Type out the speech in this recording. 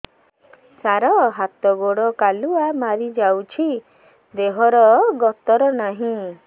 ସାର ହାତ ଗୋଡ଼ କାଲୁଆ ମାରି ଯାଉଛି ଦେହର ଗତର ନାହିଁ